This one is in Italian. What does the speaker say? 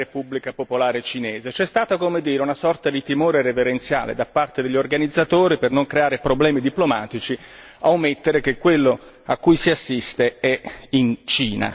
C'è stata, come dire, una sorta di timore reverenziale da parte degli organizzatori per non creare problemi diplomatici a omettere che quello a cui si assiste è in Cina, nella Cina di Pechino.